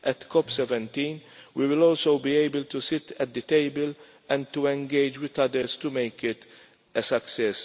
At CoP17 we will also be able to sit at the table and to engage with others to make it a success.